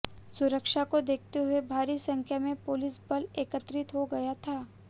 सुरक्षा को देखते हुए भारी संख्या में पुलिस बल एकत्रित हो गया था